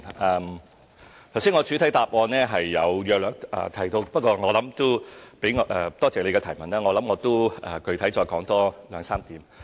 我剛才在主體答覆已約略提到，不過我也感謝議員的提問，我可具體說明兩三點。